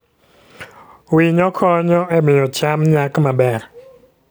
Winyo konyo e miyo cham nyak maber.